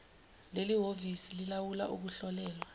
lelihhovisi lilawula ukuhlolelwa